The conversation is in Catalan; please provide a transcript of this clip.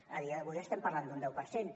a dia d’avui estem parlant d’un deu per cent